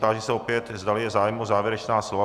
Táži se opět, zdali je zájem o závěrečná slova.